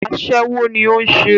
Aṣẹ́wó ní o ń ṣe.